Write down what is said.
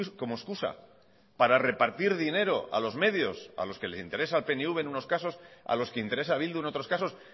como excusa para repartir dinero a los medios a los que les interesa al pnv en unos casos a los que interesa a bildu en otros casos